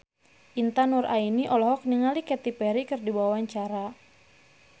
Intan Nuraini olohok ningali Katy Perry keur diwawancara